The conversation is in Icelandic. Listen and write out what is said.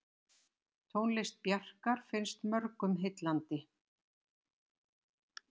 Tónlist Bjarkar finnst mörgum heillandi.